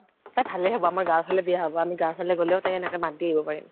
তাইৰ ভালে হব আমাৰ গাওঁৰ ফালে বিয়া হব। আমি গাঁৱৰ ফালে গলে তাইক এনেকে মাত দি আহিব পাৰিম।